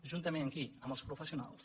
juntament amb qui amb els professionals